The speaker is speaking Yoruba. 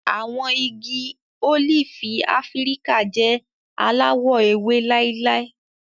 Àwọn igi ólífì Áfíríkà jẹ alawọ ewe láíláí.